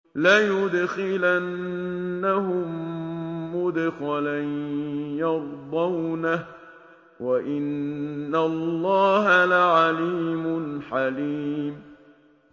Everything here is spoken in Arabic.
لَيُدْخِلَنَّهُم مُّدْخَلًا يَرْضَوْنَهُ ۗ وَإِنَّ اللَّهَ لَعَلِيمٌ حَلِيمٌ